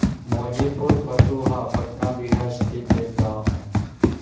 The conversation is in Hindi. मौजीपुर फतुहा पटना बिहार स्थित एक गाँव है